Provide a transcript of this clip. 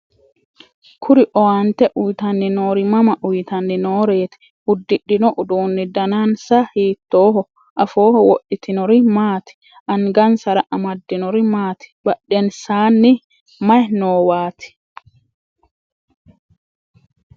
kuri owaante uyiitanni noori mama uyiitanni nooreeti? uddidhino uduuni danansa hiittooho? afooho wodhitinori maati? angansra amaddinori maati? badhensaaanni maye noowaati?